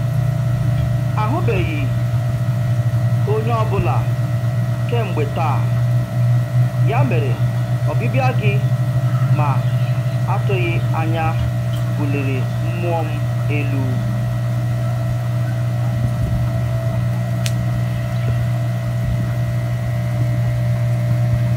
Ahụbeghị onye ọ bụla kemgbe taa, ya mere ọbịbịa gị ma atụghị anya buliri mmụọ m elu.